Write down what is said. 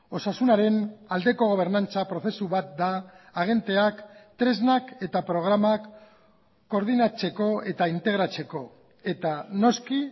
osasunaren aldeko gobernantza prozesu bat da agenteak tresnak eta programak koordinatzeko eta integratzeko eta noski